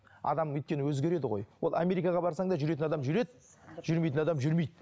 адам өйткені өзгереді ғой ол америкаға барсаң да жүретін адам жүреді жүрмейтін адам жүрмейді